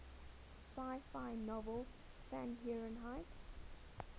sci fi novel fahrenheit